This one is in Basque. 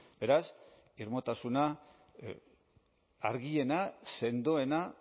beraz irmotasuna argiena sendoena